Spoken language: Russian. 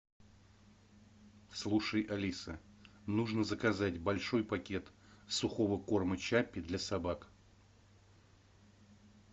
слушай алиса нужно заказать большой пакет сухого корма чаппи для собак